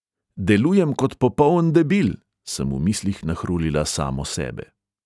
"Delujem kot popoln debil," sem v mislih nahrulila samo sebe.